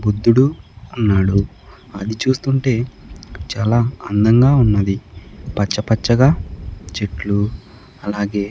బుద్ధుడు ఉన్నాడు అది చూస్తుంటే చాలా అందంగా ఉన్నది పచ్చ పచ్చగా చెట్లు అలాగే.